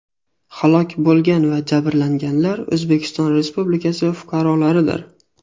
Halok bo‘lgan va jabrlanganlar O‘zbekiston Respublikasi fuqarolaridir.